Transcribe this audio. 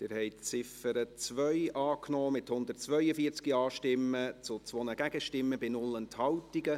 Sie haben die Ziffer 2 angenommen, mit 142 Ja- zu 2 Nein-Stimmen bei 0 Enthaltungen.